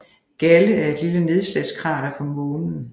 Galle er et lille nedslagskrater på Månen